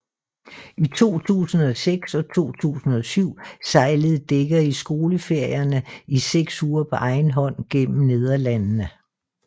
I 2006 og 2007 sejlede Dekker i skoleferierne i seks uger på egen hånd gennem Nederlandene